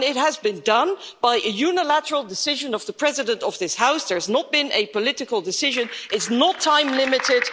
And it has been done by a unilateral decision of the President of this House, there has not been a political decision, it's not time-limited